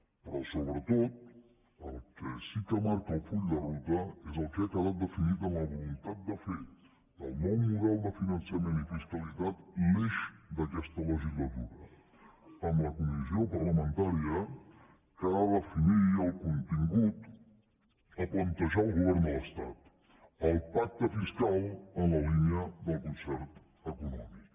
però sobretot el que sí que marca el full de ruta és el que ha quedat definit en la voluntat de fer del nou model de finançament i fiscalitat l’eix d’aquesta legislatura amb la comissió parlamentària que ha de definir el contingut a plantejar al govern de l’estat el pacte fiscal en la línia del concert econòmic